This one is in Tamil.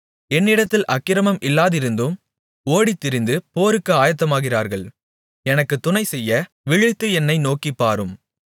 என்னிடத்தில் அக்கிரமம் இல்லாமலிருந்தும் ஓடித்திரிந்து போருக்கு ஆயத்தமாகிறார்கள் எனக்குத் துணைசெய்ய விழித்து என்னை நோக்கிப்பாரும்